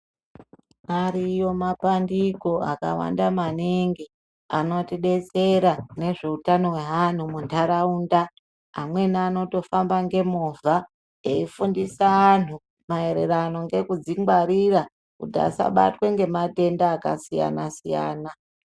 Ariyo mabandiko akawanda maningi anotidetsera mune zveutano hano muntaraunda. Amweni anotofamba ngemovha eyifundisa angu mayererano ngekudzingwarira kuti asabatwa ngematenda akasiyana siyana.